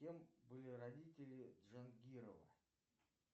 кем были родители джангирова